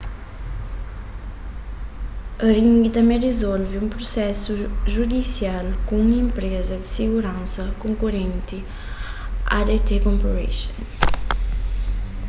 ring tanbê rizolve un prusesu judisial ku un enpreza di siguransa konkorenti adt corporation